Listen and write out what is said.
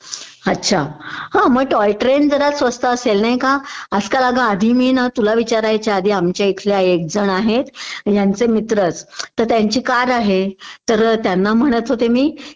हा अछा. हा मग टॉय ट्रेन जरा स्वस्त असेल नाही का?आजकाल अगं आधी मी ना तुला विचारायच्या आधी मी आमच्या इथल्या एक जण आहेत ह्यांचे मित्रच.त्यांची कार आहे तर त्यांना म्हणत होते मी